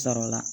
Sɔrɔla